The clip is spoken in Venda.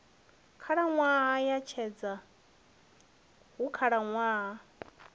khalaṅwaha ya tshedza hu khalaṅwaha